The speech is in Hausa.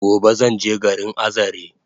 Gobe zanje garin Azare